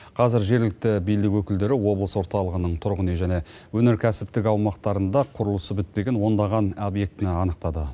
қазір жергілікті билік өкілдері облыс орталығының тұрғын үй және өнеркәсіптік аумақтарында құрылысы бітпеген ондаған объектіні анықтады